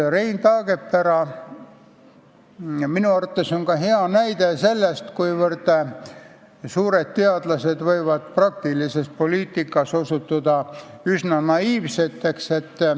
Rein Taagepera on minu arvates hea näide selle kohta, et suured teadlased võivad praktilises poliitikas osutuda üsna naiivseks.